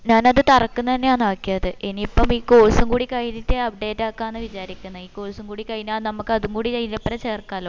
ഞാൻ അത് തറക്കിന്ന് ആന്നെയാണ് ആക്കിയത് ഇനി ഇപ്പം ഈ course കൂടി കഴിഞ്ഞിട്ടെ uodate ആക്കാന് വിചാരിക്കിന്ന് ഈ course കൂടി കയിഞ്ഞ നമ്മക്ക് അതും കൂടി അയിന്റെ ഒപ്പരം ചേർക്കലോ